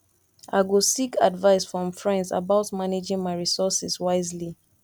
i go seek advice from friends about managing my resources wisely